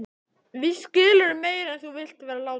Víst skilurðu meira en þú vilt vera láta.